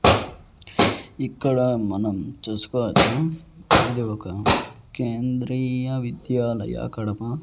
ఇక్కడ మనం చూసుకోవచ్చు ఇది ఒక కేంద్రీయ విద్యాలయ కడప.